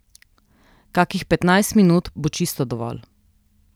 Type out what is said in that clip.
Kakih petnajst minut bo čisto dovolj.